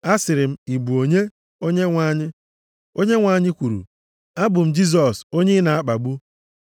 “Asịrị m, ‘Ị bụ onye, Onyenwe anyị?’ “Onyenwe anyị kwuru, ‘Abụ m Jisọs onye ị na-akpagbu.